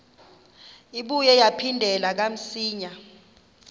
ibuye yaphindela kamsinya